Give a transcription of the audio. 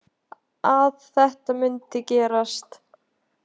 Að þetta mundi gerast.